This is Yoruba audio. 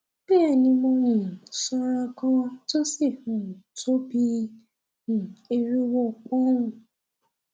bẹ́ẹ̀ni mo um sanra gan an tó sì um tó bí i um irinwó pọ́nùn